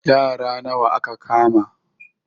Yara nawa aka kama?